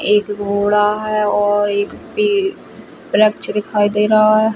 एक घोडा है और एक पे वृक्ष दिखाई दे रहा है।